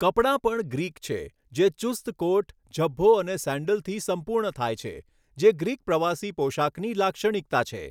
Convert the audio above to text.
કપડાં પણ ગ્રીક છે, જે ચુસ્ત કોટ, ઝભ્ભો, અને સેન્ડલથી સંપૂર્ણ થાય છે, જે ગ્રીક પ્રવાસી પોશાકની લાક્ષણિકતા છે.